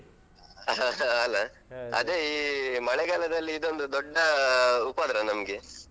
ಅಲ. ಅದೇ ಈ ಮಳೆಗಾಲದಲ್ಲಿ ಇದೊಂದು ದೊಡ್ಡ ಉಪದ್ರ ನಮ್ಗೆ.